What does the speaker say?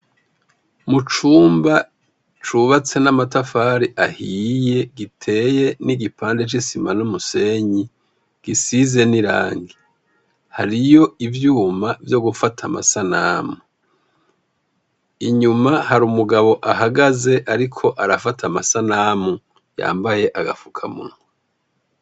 Mu cumba cubatse n'amatafari ahiye giteye n'igipande c'isima n'umusenyi gisize n'irangi, hariyo ivyuma vyo gufata amasanamu. Inyuma hari umugabo ahagaze ariko arafata amasanamu yambaye agafukamunwa.